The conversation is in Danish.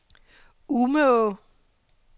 Umeå